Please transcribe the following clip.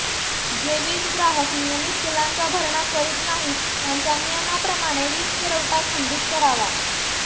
जे वीजग्राहक नियमित बिलांचा भरणा करीत नाहीत त्यांचा नियमाप्रमाणे वीजपुरवठा खंडित करावा